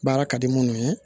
Baara ka di munnu ye